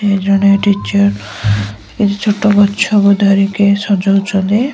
ଜଣେ ଟିଚର ଛୋଟ ଗଛକୁ ଧରିକି ସଜଉଛନ୍ତି।